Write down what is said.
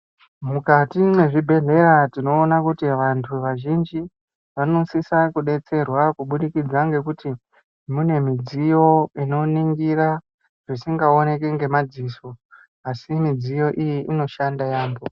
Mukati mwe zvibhedhleya tinoona kuti vantu vazhinji vanosisa kudetserwa kubudikidza ngekuti mune midziyo ino ningira zvisinga oneki nge madziso asi midziyo iyi inoshanda yambo.